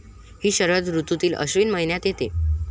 हि शरद ऋतूतील अश्विन महिन्यात येते.